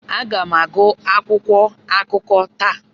Aga m agụ akwụkwọ akụkọ taa.